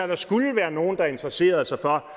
der skulle være nogen der interesserede sig for